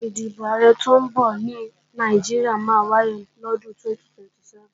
Ìdìbò Ààrẹ tọ́ ń bọ̀ ní Nàìjíríà máa wáyé lọ́dún 2027